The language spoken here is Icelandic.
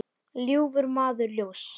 ljúfur maður ljóss.